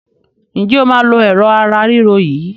Ǹjẹ́ o máa lo Ẹ̀rọ̀ ara ríro yìí?